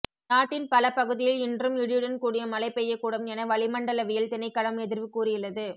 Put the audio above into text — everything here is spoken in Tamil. நாட்டின் பல பகுதியில் இன்றும் இடியுடன் கூடிய மழை பெய்யக்கூடும் என வளிமண்டலவியல் திணைக்களம் எதிர்வு கூறியுள்ளது